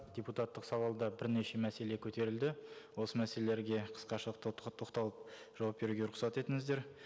депутаттық сауалда бірнеше мәселе көтерілді осы мәселелерге қысқаша тоқталып жауап беруге рұқсат етіңіздер